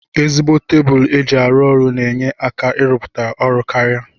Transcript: Ezigbo tebulu eji arụ ọrụ na enye aka irụputa ọrụ karia.